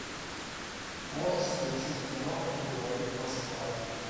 можешь включить кино говорит москва